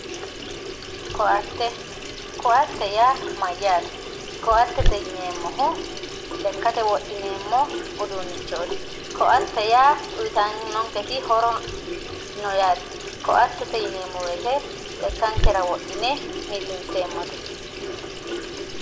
ko"atte ko"atte yaa mayyaate ko"atte yineemmohu lekkate wodhineemmo uduunnichooti ko"ate yaa uyiitannonketi horo no yaate ko"attete yineemmo woyiite lekkankera wodhine millinseemmote